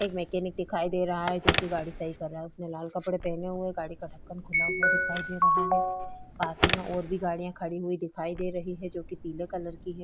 एक मैकेनिक दिखाई दे रहा है जो कि गाड़ी सही कर रहा है उसने लाल कपडे पहने हुए है गाड़ी का ढक्कन खुला हुआ दिखाई दे रहा है पास ही में और भी गाड़ियाँ खड़ी हुई दिखाई दे रही हैं जो कि पीले कलर की है।